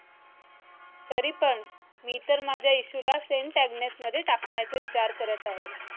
तरी पण मी तर माझ्या इशू ला st Agnes मध्ये टाकण्याचा विचार करत आहे